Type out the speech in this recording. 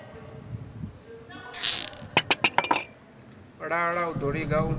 lala u ḓo liga u